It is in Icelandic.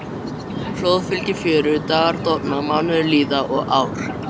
Flóð fylgir fjöru, dagar dofna, mánuðir líða og ár.